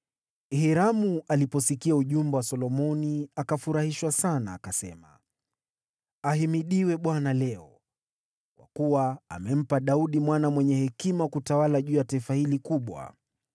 Hiramu aliposikia ujumbe wa Solomoni, akafurahishwa sana akasema, “Ahimidiwe Bwana leo, kwa kuwa amempa Daudi mwana mwenye hekima kutawala juu ya taifa hili kubwa.”